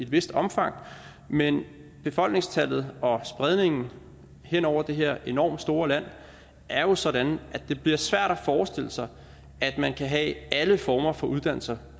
vist omfang men befolkningstallet og spredningen hen over det her enormt store land er jo sådan at det bliver svært at forestille sig at man kan have alle former for uddannelser